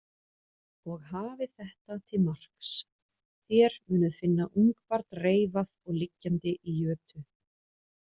Og hafið þetta til marks: Þér munuð finna ungbarn reifað og liggjandi í jötu.